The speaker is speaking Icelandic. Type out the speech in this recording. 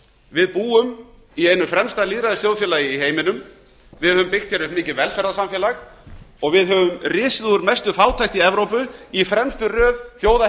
við búum í einu fremsta lýðræðisþjóðfélagi í heiminum við höfum byggt hér upp mikið velferðarsamfélag og við höfum risið úr mestu fátækt í evrópu í fremstu röð þjóða